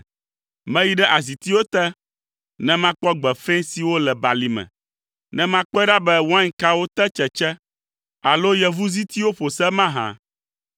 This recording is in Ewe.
Meyi ɖe azitiwo te, ne makpɔ gbe fɛ̃ siwo le balime, ne makpɔe ɖa be wainkawo te tsetse alo yevuzitiwo ƒo se mahã.